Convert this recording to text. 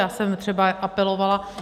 Já jsem třeba apelovala...